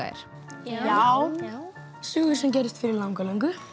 er já já sögur sem gerðust fyrir langalöngu